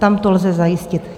Tam to lze zajistit.